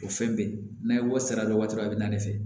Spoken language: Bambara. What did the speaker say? O fɛn bɛɛ n'a ye wari sara waati min na a bɛ na ne fɛ